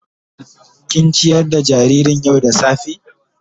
Kin ciyar da jaririn yau da safa.?